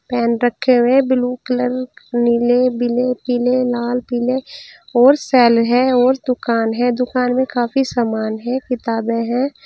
Pen रखे हुए blue colour नीले बीले पीले लाल पीले और सेल है और दुकान है दुकान में काफी सामान है किताबें हैं।